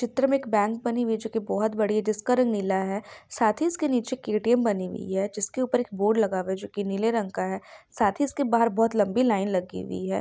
चित्र में एक बैंक बनी हुई है जो की बहुत बड़ी हुई है जो की बहुत बड़ी है उसका रंग नीला साथ ही इसके निचे के ए _ टी_एम बनी हुई है जिसके ऊपर एक बोर्ड लगा हुआ है जो की नीले रंग का है साथ ही इसके बहार बहोत लंबी लाइन लगी हुई है ।